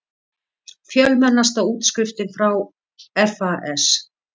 Fjölmennasta útskriftin frá FAS